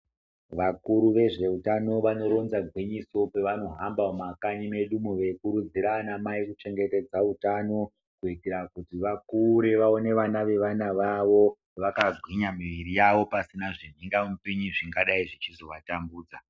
Vakuru vezveutano vanoronza gwinyiso pevanohamba mumakanyi medumo veikurudzira anamai kuchengetedza hutano, kuitira kuti vakure vaone vana vevana vavo vakagwinya miviri yavo , pasina zvimhingamupinyi zvingadai zvichizovatambudza.